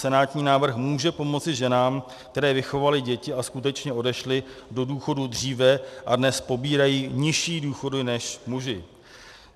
Senátní návrh může pomoci ženám, které vychovaly děti a skutečně odešly do důchodu dříve a dnes pobírají nižší důchody než muži.